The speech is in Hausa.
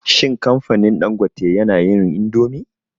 Shin kamfanin Dangote yana yin indomi?